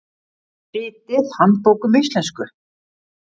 Ritið Handbók um íslensku.